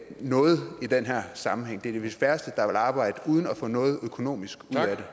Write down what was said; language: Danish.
noget i den her sammenhæng det er vist de færreste der vil arbejde uden at få noget økonomisk